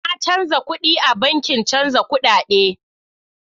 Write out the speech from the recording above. Na canza kuɗin a bankin chanza kudade.